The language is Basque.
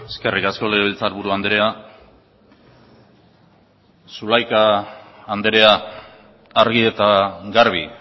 eskerrik asko legebiltzarburu andrea zulaika andrea argi eta garbi